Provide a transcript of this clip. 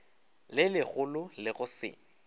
le legolo le go se